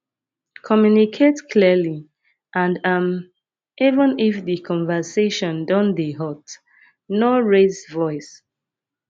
communicate clearly and um even if di conversation don dey hot no raise voice